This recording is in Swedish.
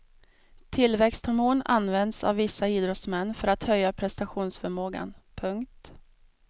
Tillväxthormon används av vissa idrottsmän för att höja prestationsförmågan. punkt